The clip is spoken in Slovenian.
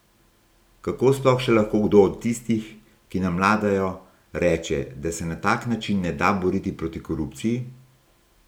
Kako sploh še lahko kdo od tistih, ki nam vladajo, reče, da se na tak način ne da boriti proti korupciji?